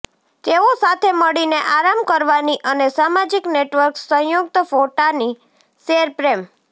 તેઓ સાથે મળીને આરામ કરવાની અને સામાજિક નેટવર્ક્સ સંયુક્ત ફોટાની શેર પ્રેમ